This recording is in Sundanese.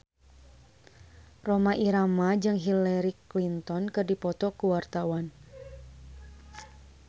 Rhoma Irama jeung Hillary Clinton keur dipoto ku wartawan